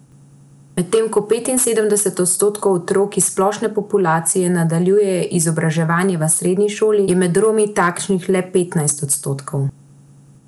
Medtem ko petinsedemdeset odstotkov otrok iz splošne populacije nadaljuje izobraževanje v srednji šoli, je med Romi takšnih le petnajst odstotkov.